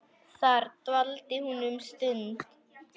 Þar dvaldi hún um stund.